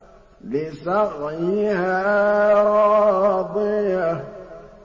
لِّسَعْيِهَا رَاضِيَةٌ